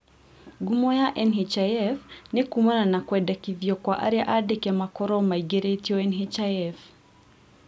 Ngumo ya NHIF nĩ kuumana na kwendekithio kwa aria andĩke makorwo maingĩrĩtio NHIF